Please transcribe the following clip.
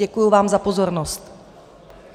Děkuji vám za pozornost.